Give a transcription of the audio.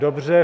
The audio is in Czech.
Dobře.